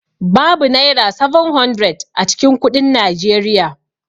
Babu Naira 700 a cikin kuɗin Nigeria.